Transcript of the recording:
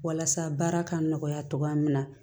Walasa baara ka nɔgɔya cogoya min na